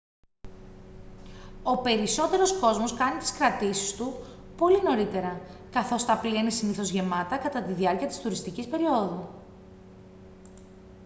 ο περισσότερος κόσμος κάνει τις κρατήσεις του πολύ νωρίτερα καθώς τα πλοία είναι συνήθως γεμάτα κατά τη διάρκεια της τουριστικής περιόδου